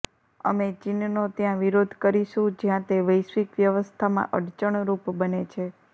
અમે ચીનનો ત્યાં વિરોધ કરીશું જ્યાં તે વૈશ્વિક વ્યવસ્થામાં અડચણરૂપ બને છે